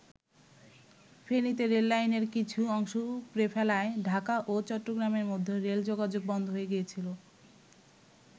ফেনীতে রেললাইনের কিছু অংশ উপড়ে ফেলায় ঢাকা ও চট্টগ্রামের মধ্যে রেল যোগাযোগ বন্ধ হয়ে গিয়েছিল।